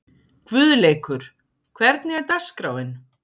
Guðleikur, hvernig er dagskráin?